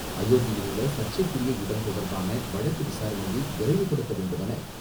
அயோத்தியில் உள்ள சர்ச்சைக்குரிய இடம் தொடர்பான வழக்கு விசாரணையை விரைவுபடுத்த வேண்டுமென,